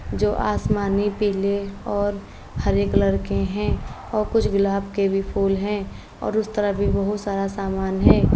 जो आसमानी पीले और हरे कलर के हैं और कुछ गुलाब के भी फूल हैं और उस तरफ भी बोहोत सारा सामान है।